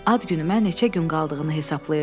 Ad günümə neçə gün qaldığını hesablayırdım.